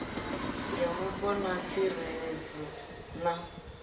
ya mupo na tsireledzo na